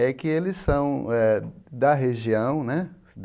É que eles são eh da região, né?